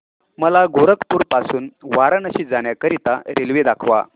मला गोरखपुर पासून वाराणसी जाण्या करीता रेल्वे दाखवा